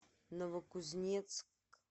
новокузнецк